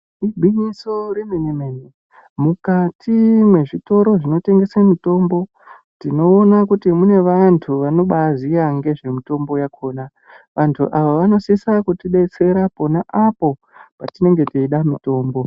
Igwinyiso remene mene mukati mwezvitoro zvinotengeswa mitombo tinoona kuti mune vantu vanobaziya ngezvemitombo yakona. Vantu ava vanosisa kutibetsera pona apo patinenge teida mitombo.